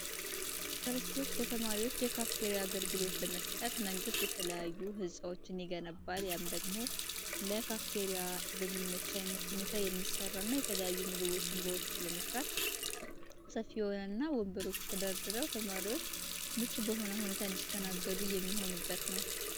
ዩኒቨርስቲዎች ለተማሪዎች የካፍቴሪያ አገልግሎት ለመስጠት መንግስት የተለያዩ ሕፃዎችን የገነባል ያም ደግሞ ለካፍቴሪያ በሚመቻይነት ሁኔታ የሚሠራ እና የተለያዩ ምግቦችን በውስጡ ለመስራት ሰፊ ሆነ እና ወንበሮቹ ተዳድረው ተማሪዎች ምች በሆነ ሁኔታ እንዲተናገሉ እየሚሆኑበት ነው፡፡